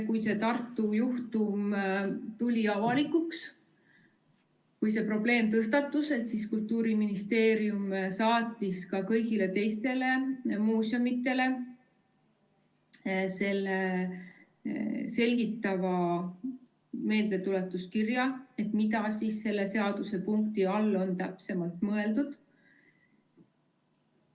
Kui see Tartu juhtum tuli avalikuks, kui see probleem tõstatus, siis Kultuuriministeerium saatis ka kõigile teistele muuseumidele selgitava meeldetuletuskirja, mida selle seadusepunkti all on täpsemalt mõeldud.